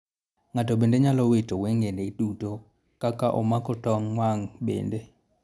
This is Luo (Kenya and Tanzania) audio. Ng'ato bende nyalo wito weng'ene duto ka ka omako tong' wang' bende.